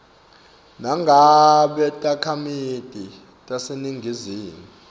nangabe takhamiti taseningizimu